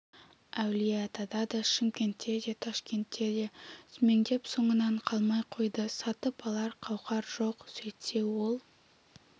әулиеатада да шымкентте де ташкентте де сүмеңдеп соңынан қалмай қойды сатып алар қауқар жоқ сөйтсе ол